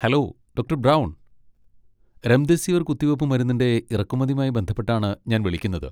Hello, doctor Brown. Remdesivir കുത്തിവയ്പ്പ് മരുന്നിൻ്റെ ഇറക്കുമതിയുമായി ബന്ധപ്പെട്ടാണ് ഞാൻ വിളിക്കുന്നത്.